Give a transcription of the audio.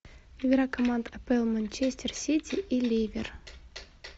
игра команд апл манчестер сити и ливер